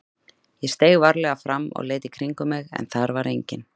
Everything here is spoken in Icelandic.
Ég steig varlega fram og leit í kringum mig en þar var enginn.